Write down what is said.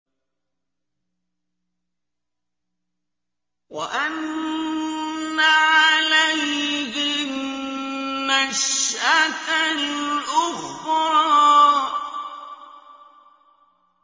وَأَنَّ عَلَيْهِ النَّشْأَةَ الْأُخْرَىٰ